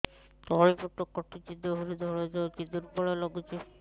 ତଳି ପେଟ କାଟୁଚି ଦେହରୁ ଧଳା ଯାଉଛି ଦୁର୍ବଳ ଲାଗୁଛି